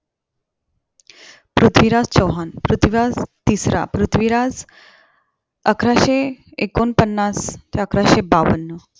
पृथ्वीराज चौहान, पृथ्वीराज तिसरा पृथ्वीराज अकराशे ऐकोणपन्नास ते अकराशे बावन्न